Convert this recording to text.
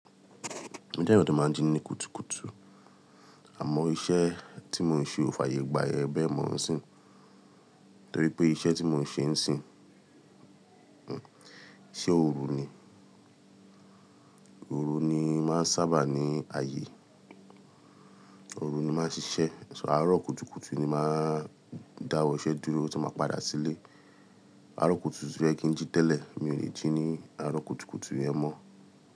Mo jẹ́ èèyàn tó máa ń jí ní kùtùkùtù, àmọ́ iṣẹ́ tí mò ń ṣe ò fàyè gba ayẹyẹ bẹ̀ mọ̀ n sìn, torípé iṣẹ́ tí mò ń ṣe ń sìn, hhn, iṣé ooru ni? Ooru ni máa ń sábà ní ààyè, ooru ni máa ń ṣiṣẹ́, àárọ̀ kùtùkùtù ni màá dáwọ́ iṣẹ́ dúró tí màá padà sílé. Àárọ̀ kùtùkùtù to yẹ́ kí ń jí tẹ́lẹ̀, mi ò lè jí ní àárọ̀ kùtùkùtù yẹn mọ́